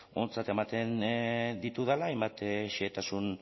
ontzat ematen ditudala hainbat xehetasun